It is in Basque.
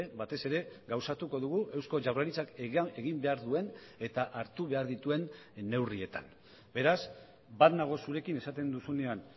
batez ere gauzatuko dugu eusko jaurlaritzak egin behar duen eta hartu behar dituen neurrietan beraz bat nago zurekin esaten duzunean